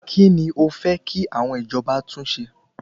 Kíni o fẹ́ kí àwọn ìjọba tún ṣe?